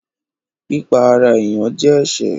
Pípa ará èèyàn jẹ́ ẹsẹ̀